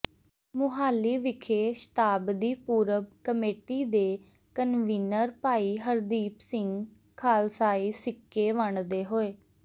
ਮੁਹਾਲੀ ਵਿਖੇ ਸ਼ਤਾਬਦੀ ਪੁਰਬ ਕਮੇਟੀ ਦੇ ਕਨਵੀਨਰ ਭਾਈ ਹਰਦੀਪ ਸਿੰਘ ਖਾਲਸਾਈ ਸਿੱਕੇ ਵੰਡਦੇ ਹੋਏ